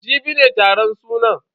Jibi ne taron sunan.